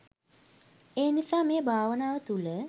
ඒ නිසා මේ භාවනාව තුළ